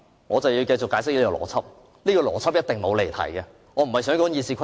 我正要解釋我的邏輯，這一定不會離題，我不是想說《議事規則》。